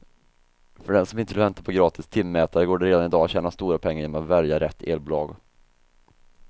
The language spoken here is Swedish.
För den som inte vill vänta på gratis timmätare går det redan i dag att tjäna stora pengar genom att välja rätt elbolag.